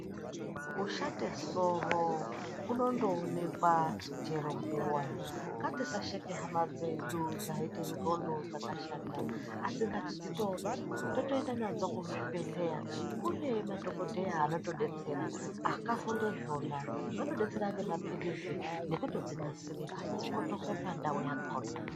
Kushate soro kunondoonekwa chero nguwa. Ngatisasheke hama dzedu dzaite ndxondo dzakashata, asi ngatidzitore totoienda nadzo kuzvibhedhlera kune madhokodheya anotodetsera akafunde zvona anodetsera ngemapilizi nekutodzinasire kuti dzikotoke pandau yakona.